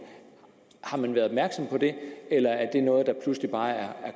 har man været opmærksom på det eller er det noget der pludselig bare er